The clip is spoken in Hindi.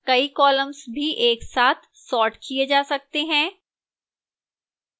कई columns भी एक साथ सॉर्ट किए जा सकते हैं